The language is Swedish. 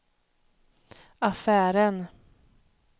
affären